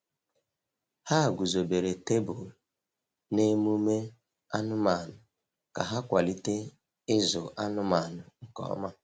Ha guzobere tebụl na emume anụmanụ ka ha kwalite ịzụ anụmanụ nke ọma.